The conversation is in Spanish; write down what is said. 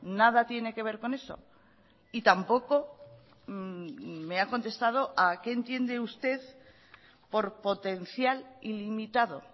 nada tiene que ver con eso y tampoco me ha contestado a qué entiende usted por potencial ilimitado